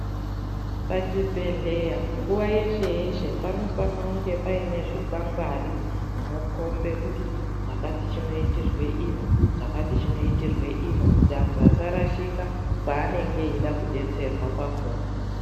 Pachibhehleya nguva yeshe yeshe panofana kungepane zvikwangwari zvinokomba kuti chakati chinoitirwa ino chakati chinoitirwa ino kuti antu asarashika kwanenge eida kudetserwa kwakona.